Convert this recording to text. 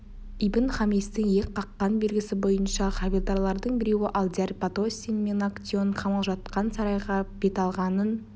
ибн-хамистің иек қаққан белгісі бойынша хавильдарлардың біреуі алдияр бат остин мен актеон қамаулы жатқан сарайға қарай бет алғанын